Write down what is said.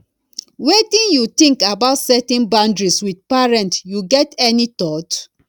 wetin you think about setting boundaries with parents you get any thought